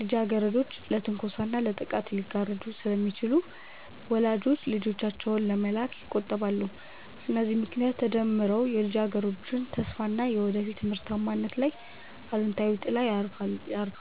ልጃገረዶች ለትንኮሳና ለጥቃት ሊጋለጡ ስለሚችሉ ወላጆች ልጆቻቸውን ከመላክ ይቆጠባሉ። እነዚህ ምክንያቶች ተደምረው የልጃገረዶችን ተስፋና የወደፊት ምርታማነት ላይ አሉታዊ ጥላ ያርፋሉ